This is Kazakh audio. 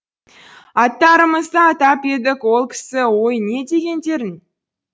аттарымызды атап едік ол кісі ой не дегендерің